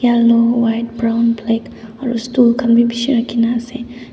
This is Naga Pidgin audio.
white brown black aru stool khan bi bishi rakhi ne ase.